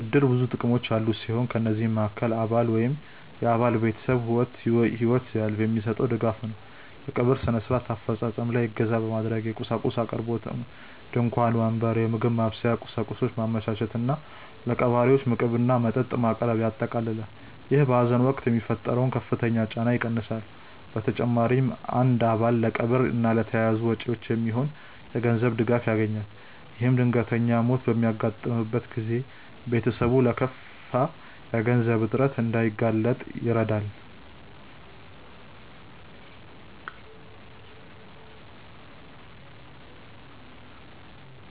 እድር ብዙ ጥቅሞች ያሉት ሲሆን ከነዚህም መሃከል አባል ወይም የአባል ቤተሰብ ህይወት ሲያልፍ የሚሰጠው ድጋፍ ነው። የቀብር ስነ-ስርዓት አፈፃፀም ላይ እገዛ ማድረግ፣ የቁሳቁስ አቅርቦት (ድንኳን፣ ወንበር፣ የምግብ ማብሰያ ቁሳቁስ) ማመቻቸት እና ለቀባሪዎች ምግብና መጠጥ ማቅረብን ያጠቃልላል። ይህ በሀዘን ወቅት የሚፈጠረውን ከፍተኛ ጫና ይቀንሳል። በተጨማሪም አንድ አባል ለቀብር እና ለተያያዙ ወጪዎች የሚሆን የገንዘብ ድጋፍ ያገኛል። ይህም ድንገተኛ ሞት በሚያጋጥምበት ጊዜ ቤተሰብ ለከፋ የገንዘብ እጥረት እንዳይጋለጥ ይረዳል።